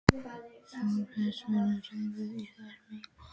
Þorsteinn, hvers vegna réðust þið í þessa miklu útgáfu?